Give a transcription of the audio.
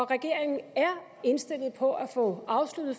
regeringen er indstillet på at få afsluttet